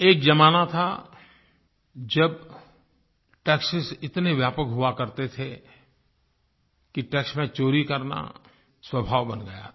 एक ज़माना था जब टैक्सों इतने व्यापक हुआ करते थे कि टैक्स में चोरी करना स्वभाव बन गया था